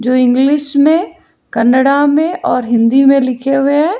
जो इंग्लिश में कनाडा में और हिंदी में लिखे हुए है।